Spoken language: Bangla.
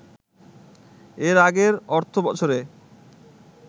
এর আগের অর্থবছরে